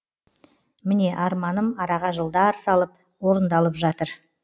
міне арманым араға жылдар салып орындалып жатыр